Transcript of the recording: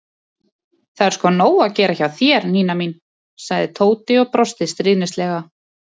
Það er sko nóg að gera hjá þér, Nína mín sagði Tóti og brosti stríðnislega.